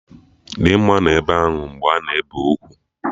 Dimma nọ ebe ahụ mgbe a na-ebe ugwu